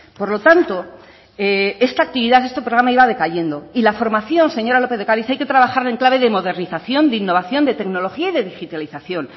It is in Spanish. por lo tanto esta actividad este programa iba decayendo y la formación señora lópez de ocariz hay que trabajarla en clave de modernización de innovación de tecnología y de digitalización